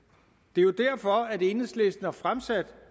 det er jo derfor at enhedslisten har fremsat